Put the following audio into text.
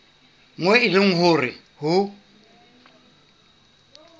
moo e leng hore ho